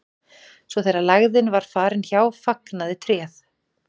svo þegar lægðin var farin hjá fagnaði tréð